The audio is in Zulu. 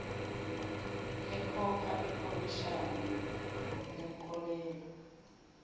ekhokha ikhomishani lenkolelo